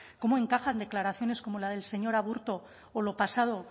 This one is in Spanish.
cómo encajan declaraciones como la del señor aburto o lo pasado